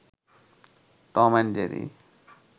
Tom and Jerry